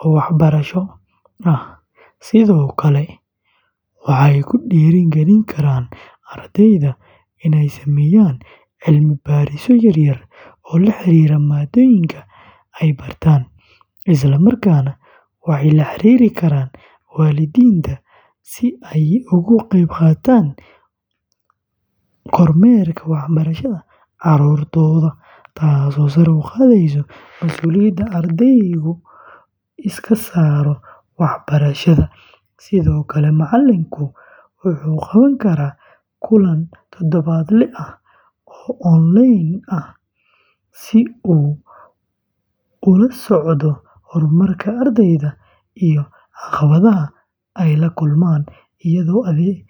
oo waxbarasho, sidoo kale waxay ku dhiirrigelin karaan ardayda inay sameeyaan cilmi-baarisyo yar-yar oo la xiriira maadooyinka ay bartaan, isla markaana waxay la xiriiri karaan waalidiinta si ay uga qeybqaataan kormeerka waxbarashada carruurtooda, taasoo sare u qaadaysa masuuliyadda ardaygu iska saaro waxbarashadiisa, sidoo kale, macallinku wuxuu qaban karaa kulan toddobaadle ah oo onlayn ah si uu ula socdo horumarka ardayda iyo caqabadaha ay la kulmaan, iyadoo la adeegsanayo.